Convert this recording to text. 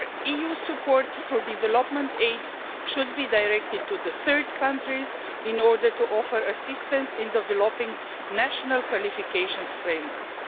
Moreover, EU support through development aid should be directed to third countries in order to offer assistance in developing national qualifications frameworks.